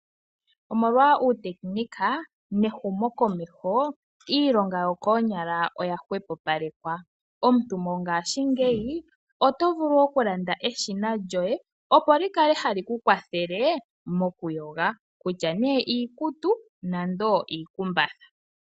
Omolwa uutekinolohi nehumo komeho iilonga yokoonyala oya hwepopalekwa. Mongashingeyi oto vulu okulanda eshina lyoye, opo likale hali ku kwathale okuyoga kutya iikutu nenge iikumbatha.